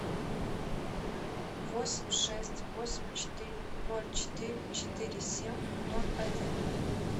восемь шесть восемь четыре ноль четыре четыре семь ноль один